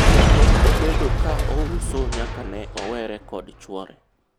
pok obedo ka ouso nyaka ne owere kod chuore